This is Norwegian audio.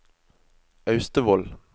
Austevoll